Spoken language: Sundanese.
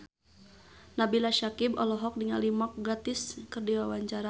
Nabila Syakieb olohok ningali Mark Gatiss keur diwawancara